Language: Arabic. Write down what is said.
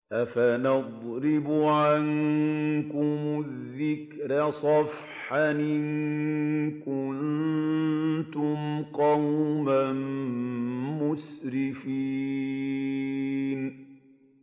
أَفَنَضْرِبُ عَنكُمُ الذِّكْرَ صَفْحًا أَن كُنتُمْ قَوْمًا مُّسْرِفِينَ